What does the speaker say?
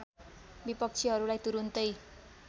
विपक्षीहरुलाई तुरुन्तै